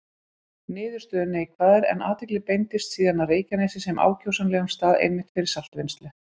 Niðurstöður neikvæðar, en athygli beindist síðan að Reykjanesi sem ákjósanlegum stað einmitt fyrir saltvinnslu.